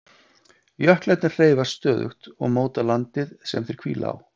Jöklarnir hreyfast stöðugt og móta landið sem þeir hvíla á.